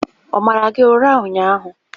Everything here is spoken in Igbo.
Ọ mara gị ụra ụnyahụ?